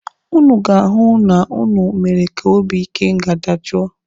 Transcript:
Ụnụ ga-ahụ na ụnụ mere ka obi ikenga dajoo.